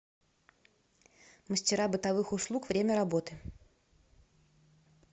мастера бытовых услуг время работы